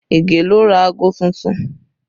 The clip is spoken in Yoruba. Ige ló ra aago tuntun